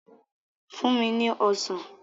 Fún mi ní Ọsàn!